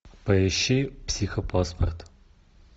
поищи психопаспорт